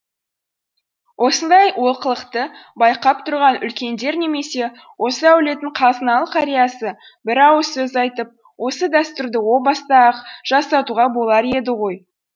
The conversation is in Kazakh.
осындай олқылықты байқап тұрған үлкендер немесе осы әулеттің қазыналы қариясы бір ауыз сөз айтып осы дәстүрді о баста ақ жасатуға болар еді ғой